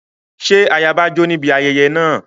Ṣé ayaba jó níbi ayẹyẹ náà?